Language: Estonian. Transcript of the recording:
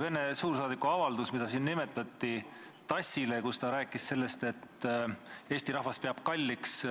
Vene suursaadiku poolt TASS-ile tehtud avaldus, mida siin nimetati ja milles ta rääkis sellest, et Eesti rahvas peab kalliks